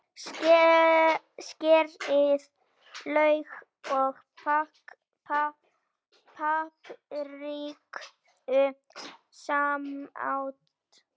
Skerið lauk og papriku smátt.